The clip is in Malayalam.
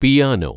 പിയാനോ